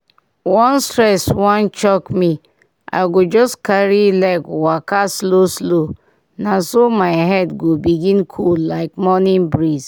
once stress wan choke me i go just carry leg waka slow-slow na so my head go begin cool like early morning breeze.